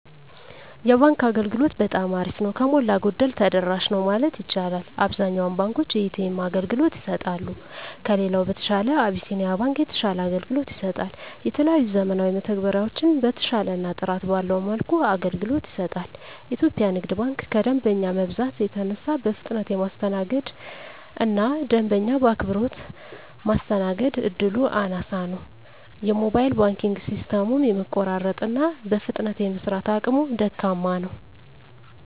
የባንክ አገልግሎት በጠማ አሪፍ ነው። ከሞላ ጎደል ተደራሽ ነው ማለት ይቻላል። አብዛኛውን ባንኮች የኤ.ተ.ኤም አገልግሎት ይሰጣሉ። ከሌላው በተሻለ አብሲኒያ ባንክ የተሻለ አገልግሎት ይሰጣል። የተለያዩ ዘመናዊ መተግበሪያዎችን በተሻለና ጥራት ባለው መልኩ አገልግሎት ይሰጣል። ኢትዮጵያ ንግድ ባንክ ከደንበኛ መብዛት የተነሳ በፍጥነት የማስተናገድ እና ደንበኛ በአክብሮት ማስተናገድ እድሉ አናሳ ነው። የሞባይል ባንኪንግ ሲስተሙም የመቆራረጥ እና በፍጥነት የመስራት አቅሙ ደካማ ነው።